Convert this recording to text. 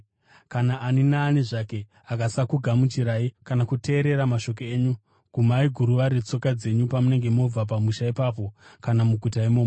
Kana ani naani zvake akasakugamuchirai, kana kuteerera mashoko enyu, gumai guruva retsoka dzenyu pamunenge mobva pamusha ipapo kana muguta imomo.